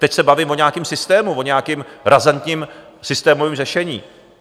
Teď se bavím o nějakém systému, o nějakém razantním systémovém řešení.